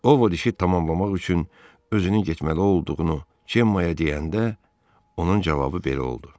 Ovod işi tamamlamaq üçün özünün getməli olduğunu Cemmaya deyəndə, onun cavabı belə oldu: